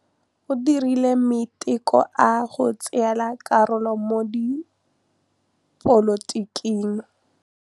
O dirile maitekô a go tsaya karolo mo dipolotiking.